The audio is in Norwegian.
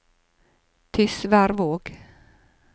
Tysværvåg